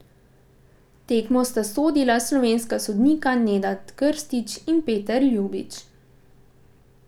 Tekmo sta sodila slovenska sodnika Nenad Krstić in Peter Ljubič.